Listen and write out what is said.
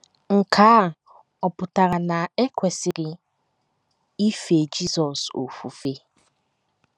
Nke a ọ̀ pụtara na e kwesịrị ife Jizọs ofufe?